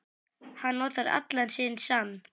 Hann notar allan sinn sann